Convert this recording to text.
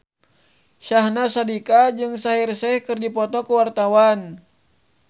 Syahnaz Sadiqah jeung Shaheer Sheikh keur dipoto ku wartawan